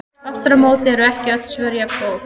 Aftur á móti eru ekki öll svör jafngóð.